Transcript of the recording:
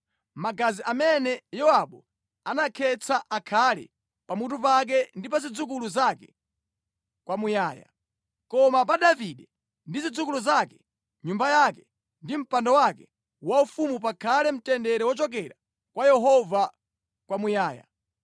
Magazi amene Yowabu anakhetsa akhale pamutu pake ndi pa zidzukulu zake kwamuyaya. Koma pa Davide ndi zidzukulu zake, nyumba yake ndi mpando wake waufumu pakhale mtendere wochokera kwa Yehova kwamuyaya.”